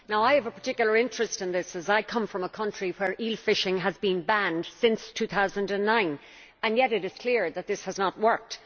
I have a particular interest in this as I come from a country where eel fishing has been banned since 2009, and yet it is clear that this has not worked.